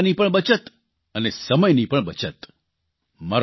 એટલે કે પૈસાની પણ બચત અને સમયની પણ બચત